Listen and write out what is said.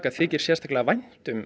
þykir sérstaklega vænt um